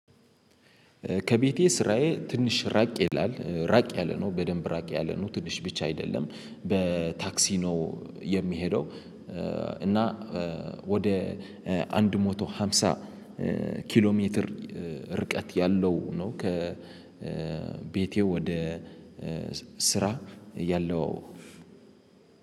ከቤቴ ስራዬ ትንሽ ራቅ ይላል ራቅ ያለ ነው በደንብ ራቅ ያለ ነው። ትንሽ ብቻ አይደለም፤ በታክሲ ነው የምሄደው እና ወደ አንድ ሞቶ ሃምሳ ኪሎ ሜትር ርቀት ያለው ነው ከ ቤቴ ወደ ስራ ያለው።